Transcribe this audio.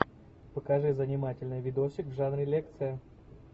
покажи занимательный видосик в жанре лекция